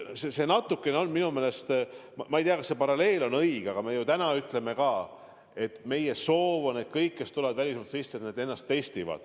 Ma ei tea, kas see paralleel on õige, aga meie soov praegu on, et kõik, kes tulevad välismaalt Eestisse, teevad testi.